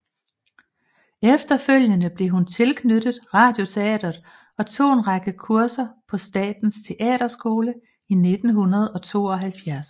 Efterfølgende blev hun tilknyttet Radioteatret og tog en række kurser på Statens Teaterskole i 1972